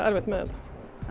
erfitt með